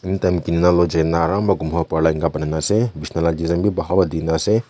banai na ase bisna lah design bhi bhal pra dikhi na ase.